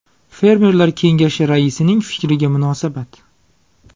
Fermerlar kengashi raisining fikriga munosabat.